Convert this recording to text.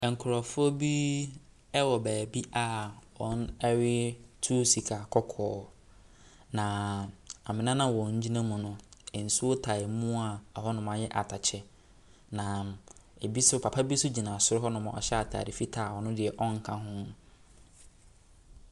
Nkrɔfoɔ bi ɛwɔ baabi a wɔretu sika kɔkɔɔ. Na amena no a wɔgyina mu no, nsuo tae mu a ɔhɔnom ayɛ atɛkyɛ. Na ebi nso papa so gyina soro hɔnom ɔhyɛ ataade fitaa a ɔno deɛ ɔnka ho.